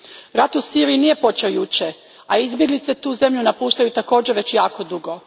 Rat u Siriji nije počeo jučer, a izbjeglice tu zemlju napuštaju također već jako dugo.